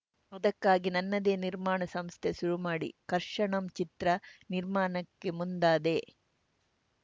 ಅದಕ್ಕಾಗಿ ನನ್ನದೇ ನಿರ್ಮಾಣ ಸಂಸ್ಥೆ ಶುರು ಮಾಡಿ ಕರ್ಷಣಂ ಚಿತ್ರ ನಿರ್ಮಾಣಕ್ಕೆ ಮುಂದಾದೆ